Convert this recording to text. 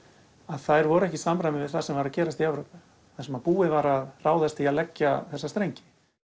þær voru ekki í samræmi við það sem var að gerast í Evrópu þar sem búið var að ráðast í að leggja þessa strengi